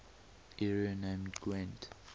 area named gwent